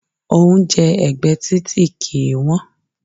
Oúnjẹ ẹ̀gbẹ́ títì kìí wọ́n.